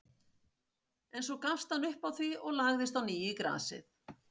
En svo gafst hann upp á því og lagðist á ný í grasið.